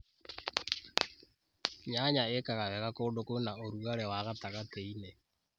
Nyanya ĩkaga wega kũndũ kwĩna ũrugarĩ wa gatagatĩ-inĩ.